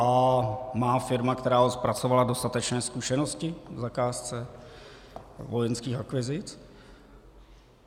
A má firma, která ho zpracovala, dostatečné zkušenosti k zakázce vojenských akvizic?